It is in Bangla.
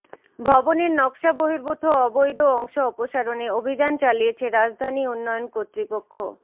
ভবনের নকশাবহির্ভূত অবৈধ অংশ অপসারণে অভিযান চালিয়েছে রাজধানী উন্নয়ন কর্তৃপক্ষ